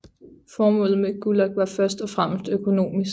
Formålet med Gulag var først og fremmest økonomisk